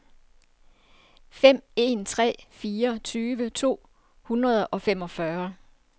fem en tre fire tyve to hundrede og femogfyrre